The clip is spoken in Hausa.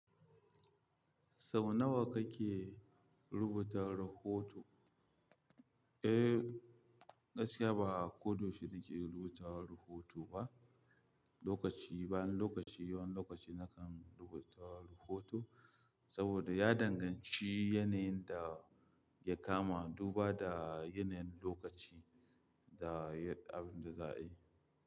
Sau nawa kake rubuta rahoto? Eh, gaskiya ba koda yaushe nake rubuta rahoto ba. Lokaci, bayan lokaci, wani lokaci nakan rubuta rahoto saboda ya danganci yanayin da ya kama, duba da yanayin lokaci da abin da za a yi.